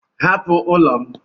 Hapụ ụlọ m!